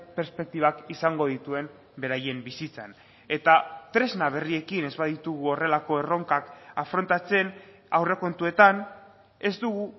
perspektibak izango dituen beraien bizitzan eta tresna berriekin ez baditugu horrelako erronkak afrontatzen aurrekontuetan ez dugu